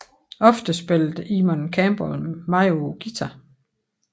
Ofte spillede Eamonn Campbell med på guitar